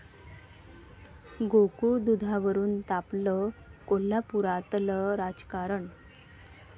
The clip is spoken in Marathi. गोकुळ दुधावरून तापलं कोल्हापुरातलं राजकारण!